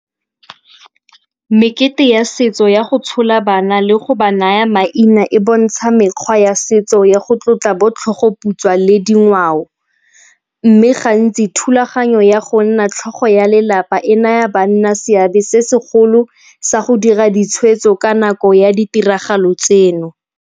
Mekete ya setso ya go tshola bana le go ba naya maina e bontsha mekgwa ya setso ya go tlotla bo tlhogoputswa le dingwao. Mme gantsi thulaganyo ya go nna tlhogo ya lelapa e naya banna seabe se segolo sa go dira ditshwetso ka nako ya ditiragalo tseno.